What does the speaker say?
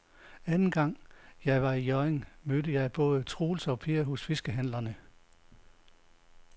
Anden gang jeg var i Hjørring, mødte jeg både Troels og Per hos fiskehandlerne.